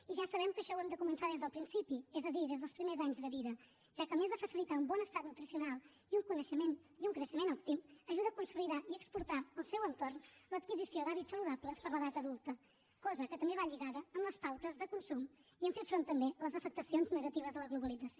i ja sabem que això ho hem de començar des del principi és a dir des dels primers anys de vida ja que a més de facilitar un bon estat nutricional i un coneixement i un creixement òptim ajuda a consolidar i exportar al seu entorn l’adquisició d’hàbits saludables per a l’edat adulta cosa que també va lligada amb les pautes de consum i amb fer front també a les afectacions negatives de la globalització